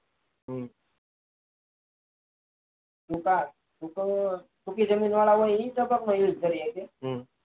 હમ સુકા સુકી જમીન વાળા હોય એ ટપક નો use કરી સકે